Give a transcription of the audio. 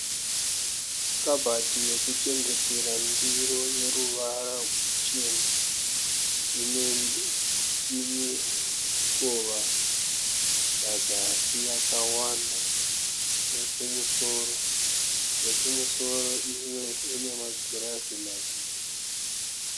Kabhati yekuchengetera ndiro yeruvara ruchena. Ine mikova pazasi yakawanda nekumusoro, yekumusoro imwe ina magirazi maviri.